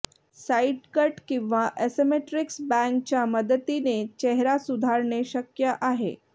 side cut किंवा asymmetrics बॅंगच्या मदतीने चेहरा सुधारणे शक्य आहे